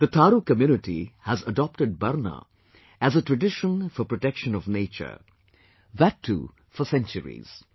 The Thaaru community has adopted BARNA as a tradition for protection of nature; that too for centuries